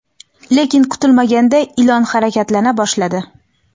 lekin kutilmaganda ilon harakatlana boshladi.